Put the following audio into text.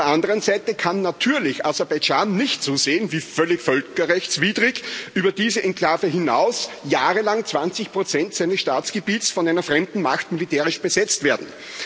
Auf der anderen Seite kann natürlich Aserbaidschan nicht zusehen, wie, völlig völkerrechtswidrig, über diese Enklave hinaus jahrelang 20 seines Staatsgebiets von einer fremden Macht militärisch besetzt werden.